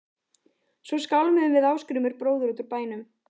Svo skálmuðum við Ásgrímur bróðir út úr bænum.